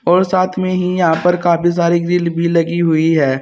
और साथ में ही यहां पर काफी सारी ग्रिल भी लगी हुई है।